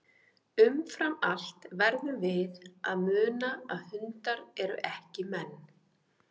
Umfram allt verðum við að muna að hundar eru ekki menn.